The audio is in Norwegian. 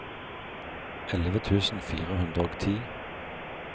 elleve tusen fire hundre og ti